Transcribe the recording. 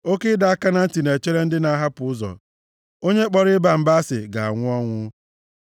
Oke ịdọ aka na ntị na-echere ndị na-ahapụ ụzọ. Onye kpọrọ ịba mba asị ga-anwụ ọnwụ.